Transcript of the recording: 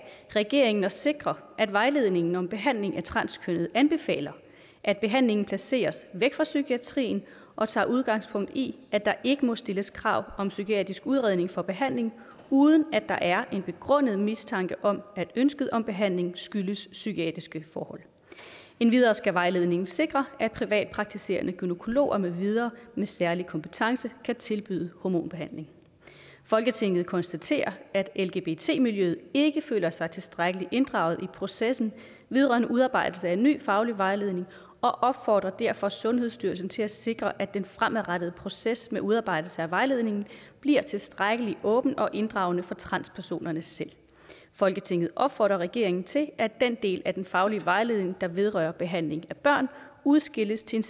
regeringen at sikre at vejledningen om behandling af transkønnede anbefaler at behandlingen placeres væk fra psykiatrien og tager udgangspunkt i at der ikke må stilles krav om psykiatrisk udredning for behandling uden at der er en begrundet mistanke om at ønsket om behandling skyldes psykiatriske forhold endvidere skal vejledningen sikre at privatpraktiserende gynækologer med videre med særlig kompetence kan tilbyde hormonbehandling folketinget konstaterer at lgbt miljøet ikke føler sig tilstrækkeligt inddraget i processen vedrørende udarbejdelse af ny faglig vejledning og opfordrer derfor sundhedsstyrelsen til at sikre at den fremadrettede proces med udarbejdelse af vejledningen bliver tilstrækkelig åben og inddragende for transpersonerne selv folketinget opfordrer regeringen til at den del af den faglige vejledning der vedrører behandling af børn udskilles til en